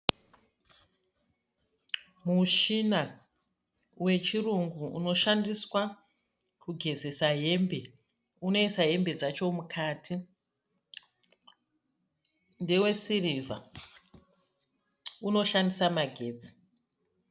Mushina wechirungu unoshandiswa kugezesa hembe. Unoisa hembe dzacho mukati. Ndewe sirivha unoshandisa magetsi.